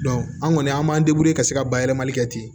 an kɔni an b'an ka se ka bayɛlɛmali kɛ ten